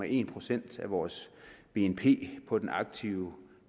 en procent af vores bnp på den aktive